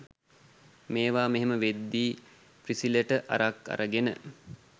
මේවා මෙහෙම වෙද්දි ප්‍රිසිලට අරක් අරගෙන